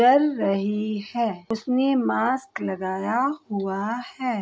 चल रही है उसने मास्क लगाया हुआ है।